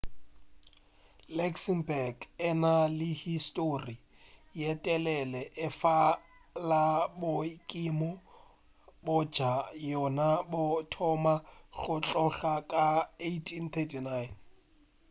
luxembourg e na le histori ye telele efela boikemo bja yona bo thoma go tloga ka 1839